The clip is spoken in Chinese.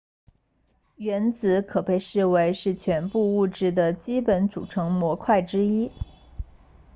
原子可被视为是全部物质的基本组成模块之一